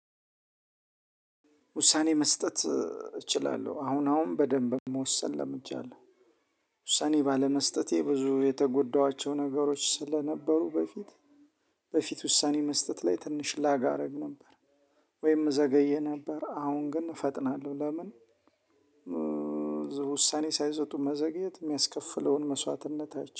ውሳኔ መስጠት። እችላለሁ አሁን አሁን በደንብ መወሰን ለምጃለሁ ውሳኔ ባለመስጠቴ ብዙ የተጎዳኋቸው ነገሮች ስለነበሩ በፊት በፊት ውሳኔ መስጠት ላይ ትንሽ ላጋ አደረግ ነበር። ወይም እዘገይ ነበር አሁን ግን እፈጥናለሁ ለምን? ውሳኔ ሳይሰጡ መዘግየት የሚያስከፍለውን መስዋዕትነት አይታለሁ